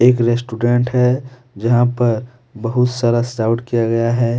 ये लेस्टुडेंट है। जहाँ पर बहुत सारा सजावट किया गया है।